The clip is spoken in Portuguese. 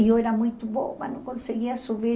Eu era muito boba, não conseguia subir.